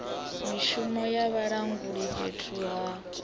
mishumo ya vhalanguli fhethu ha